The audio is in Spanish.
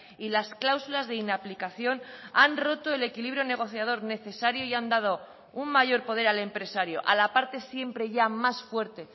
y las cláusulas de inaplicación han roto el equilibrio negociador necesario y han dado un mayor poder al empresario a la parte siempre ya más fuerte